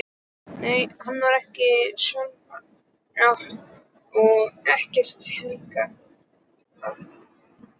Nei, henni var ekki sjálfrátt og ekkert heilagt.